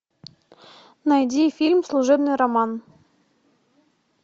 найди фильм служебный роман